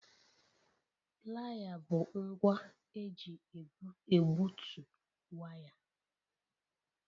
Playa bụ ngwa eji egbutu waya